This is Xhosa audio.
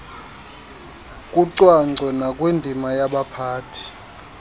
kucwangco nakwindima yabaphathi